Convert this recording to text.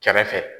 Kɛrɛfɛ